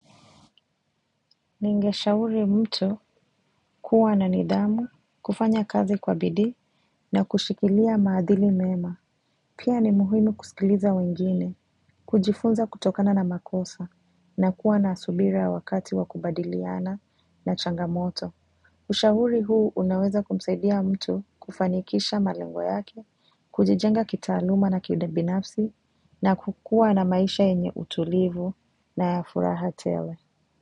Ningeshauri mtu kuwa na nidhamu kufanya kazi kwa bidii na kushikilia maadhili mema. Pia ni muhimu kusikiliza wengine kujifunza kutokana na makosa na kuwa na subira wakati wa kubadiliana na changamoto. Ushauri huu unaweza kumsaidia mtu kufanikisha malengo yake kujijenga kitaaluma na kibinafsi na kukua na maisha yenye utulivu na ya furaha tele.